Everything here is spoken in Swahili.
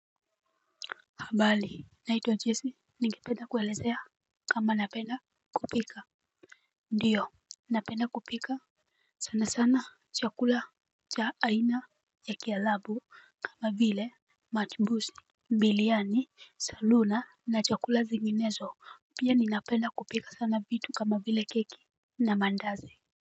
Habari naitwa jessie. Ningependa kuelezea kama napenda kupika. Ndiyo napenda kupika. Sana sana chakula cha aina ya kiarabu kama vile matibusi biryani salona na chakula zinginezo pia ninapenda kupika sana vitu kama vile keki na mandazi.